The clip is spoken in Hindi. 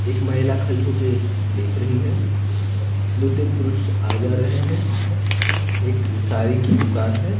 एक महिला खड़ी होके देख रही है दो-तीन पुरुष आ जा रहे हैं एक साड़ी की दुकान है।